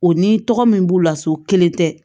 O ni tɔgɔ min b'u la so kelen tɛ